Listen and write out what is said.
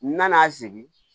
N nana sigi